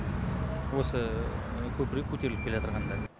осы көпірге көтеріліп келатырғанда